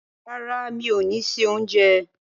Rárá, mi ò ni se oúnjẹ.